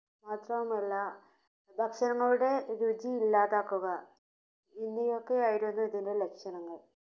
മാത്രവുമല്ല ഭക്ഷണങ്ങളുടെ രുചി ഇല്ലാതാക്കുക ഇങ്ങനെയൊക്കെ ആയിരുന്നു ഇതിന്റെ ലക്ഷണങ്ങൾ.